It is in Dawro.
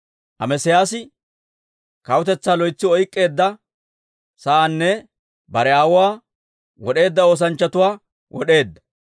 Amesiyaasi kawutetsaa loytsi oyk'k'eedda saana, bare aawuwaa wod'eedda oosanchchatuwaa wod'eedda.